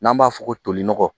N'an b'a fɔ ko toli nɔgɔ